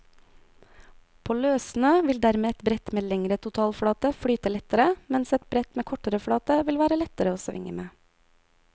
På løssnø vil dermed et brett med lengre totalflate flyte lettere, mens et brett med kortere flate vil være lettere å svinge med.